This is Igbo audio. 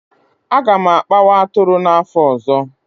A ga m akpawa atụrụ n'afọ ọzọ